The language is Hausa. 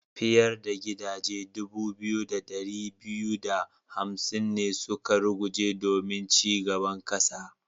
Fiyar da gidaje dubu biyu da dari biyu da hamsin ne suka ruguje domin ci gaban kasa.